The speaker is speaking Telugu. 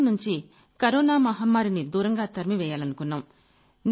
మన దేశం నుంచి కరోనా మహమ్మారిని దూరంగా తరిమి వెయ్యాలనుకున్నాం